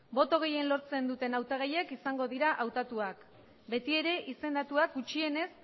boto gehien lortzen duten hautagaiak izango dira hautatuak betiere izendatuak gutxienez